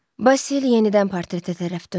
Basil yenidən portretə tərəf döndü.